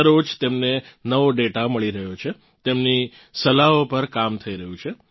દરરોજ તેમને નવો ડેટા મળી રહ્યો છે તેમની સલાહો પર કામ થઇ રહ્યું છે